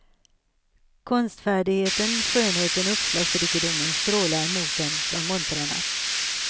Konstfärdigheten, skönheten och uppslagsrikedomen strålar mot en från montrarna.